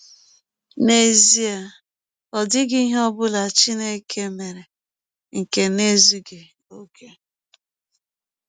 N’ezie, ọ dịghị ihe ọ bụla Chineke mere nke na - ezụghị ọkè.